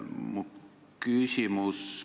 Mu küsimus on selline.